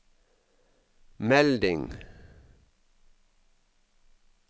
melding